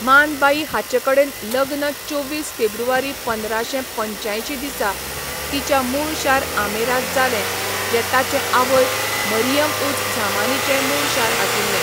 मान बाई हाचेकडेन लग्न चोवीस फेब्रुवारी पंदराशें पंच्यांयशीं दिसा तिच्या मूळ शार आमेरांत जालें जें ताचे आवय मरियम उझ झामानीचेंय मूळ शार आशिल्लें.